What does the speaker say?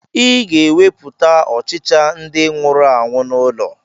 Ị ga-ewepụkwa ọchịcha ndị nwụrụ anwụ n'ụlọ